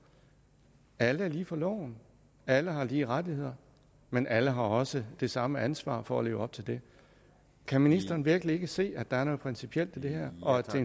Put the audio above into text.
alle er lige for loven alle har lige rettigheder men alle har også det samme ansvar for at leve op til det kan ministeren virkelig ikke se at der er noget principielt i det her og at det